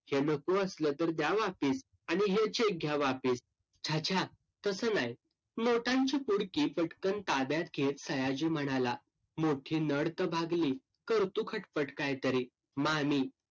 हे नको असलं तर द्या वापीस. आणि हे cheque घ्या वापीस. छा छा, तसं नाय. नोटांची पुडकी पटकन ताब्यात घेत सयाजी म्हणाला, मोठी नड तर भागली. करतो खटपट कायतरी मामी.